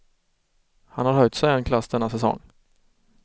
Han har höjt sig en klass denna säsong.